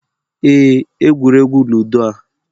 Ee, egwuregwu ludo a